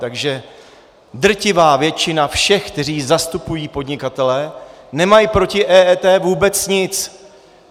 Takže drtivá většina všech, kteří zastupují podnikatele, nemá proti EET vůbec nic.